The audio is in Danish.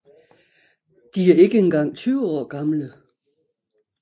De er ikke engang 20 år gamle